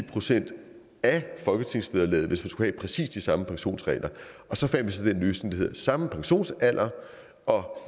procent af folketingsvederlaget hvis vi skulle have præcis de samme pensionsregler og så fandt vi så den løsning der hedder samme pensionsalder og